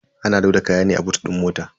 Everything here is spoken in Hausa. Ana loda kaya ne a boot din mota.